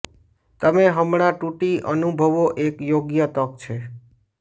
તમે હમણાં તૂટી અનુભવો એક યોગ્ય તક છે